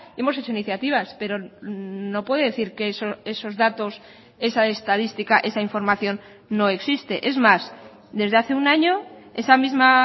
hemos hecho iniciativas pero no puede decir que esos datos esa estadística esa información no existe es más desde hace un año esa misma